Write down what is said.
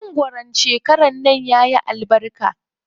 Mangwaron shekaran nan yayi albarka.